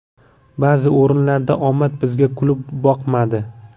Ba’zi o‘rinlarda omad bizga kulib boqmadi.